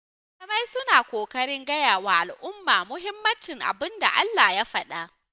Malamai suna ƙoƙarin gayawa al'umma muhimmancin abinda Allah ya faɗa.